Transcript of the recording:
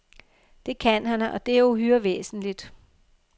Det kan han, og det er jo uhyre væsentligt.